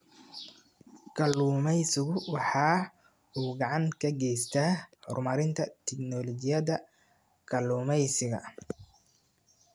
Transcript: Kalluumaysigu waxa uu gacan ka geystaa horumarinta tignoolajiyada kalluumaysiga.